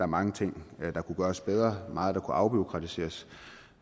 mange ting der kunne gøres bedre meget der kunne afbureaukratiseres